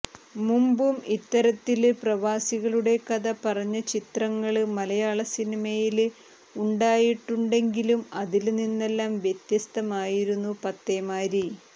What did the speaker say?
മുമ്പും ഇത്തരത്തില് പ്രവാസികളുടെ കഥ പറഞ്ഞ ചിത്രങ്ങള് മലയാള സിനിമയില് ഉണ്ടായിട്ടുണ്ടെങ്കിലും അതില് നിന്നെല്ലാം വ്യത്യസ്തമായിരുന്നു പത്തേമാരി